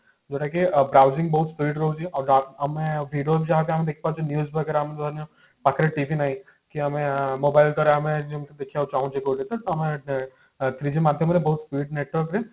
ଯୋଉଟା କି browsing ବହୁତ speed ରହୁଛି ଆଉ ବା ଆମେ video ଯାହାକୁ ଆମେ ଦେଖିପାରୁଛେ news ବଗେରା ଆମେ ଆମ ପାଖରେ TV ନାହିଁ କି ଯାହାଦ୍ୱାରା ଆମେ ଯୋଉ ଦେଖିବାକୁ ଚାହୁଁଛେ ଯୋଉଟା କି ହଁ three G ମାଧ୍ୟମରେ ବହୁତ speed network ରେ